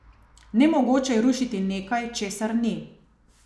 Nemogoče je rušiti nekaj, česar ni.